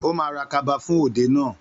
Ó ma ra kaba fún òde náà